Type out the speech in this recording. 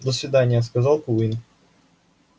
до свидания сказал куинн